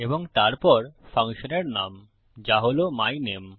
এবং তারপর ফাংশনের নাম যা হল মাইনামে